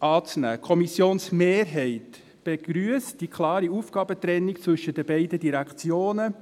Die Kommissionsmehrheit begrüsst die klare Aufgabentrennung zwischen den beiden Direktionen.